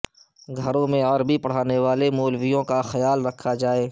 گھروں پر عربی پڑھانے والے مولویوں کا خیال رکھا جائے